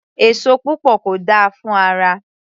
Èso púpọ̀ kò dáa fún ara